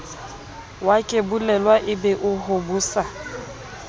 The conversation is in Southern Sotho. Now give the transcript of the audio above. wakebolelwa e be o hobosa